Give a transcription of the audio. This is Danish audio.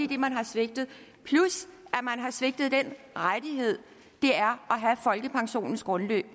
det man har svigtet plus at man har svigtet den rettighed det er at have folkepensionens grundbeløb